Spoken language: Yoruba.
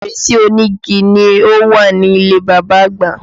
Fèrèsé onígi ni ó wà nílé bàbá agba